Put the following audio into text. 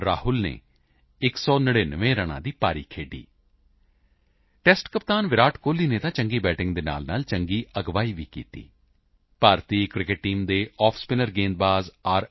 ਰਾਹੁਲ ਨੇ 199 ਰਨਾਂ ਦੀ ਪਾਰੀ ਖੇਡੀ ਟੈਸਟ ਕਪਤਾਨ ਵਿਰਾਟ ਕੋਹਲੀ ਨੇ ਤਾਂ ਚੰਗੀ ਬੈਟਿੰਗ ਦੇ ਨਾਲਨਾਲ ਵਧੀਆ ਅਗਵਾਈ ਵੀ ਦਿੱਤੀ ਭਾਰਤੀ ਕ੍ਰਿਕੇਟ ਟੀਮ ਦੇ ਆਫਸਪਿਨਰ ਗੇਂਦਬਾਜ਼ ਆਰ